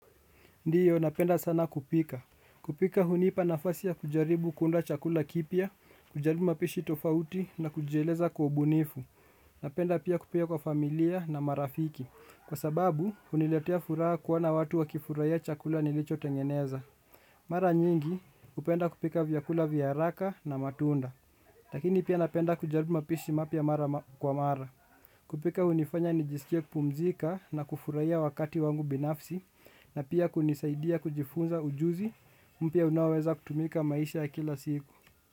Ndiyo napenda sana kupika. Kupika hunipa nafasi ya kujaribu kuunda chakula kipya kujaribu mapishi tofauti na kujieleza kwa ubunifu. Napenda pia kupika kwa familia na marafiki. Kwa sababu huniletea furaha kuona watu wakifurahia chakula nilicho tengeneza. Mara nyingi hupenda kupika vyakula vya hraka na matunda lakini pia napenda kujaribu mapishi mapya mara kwa mara. Kupika hunifanya nijisikie kupumzika na kufurahia wakati wangu binafsi na pia kunisaidia kujifunza ujuzi mpya unaoweza kutumika maisha ya kila siku.